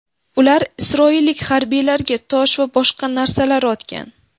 Ular isroillik harbiylarga tosh va boshqa narsalar otgan.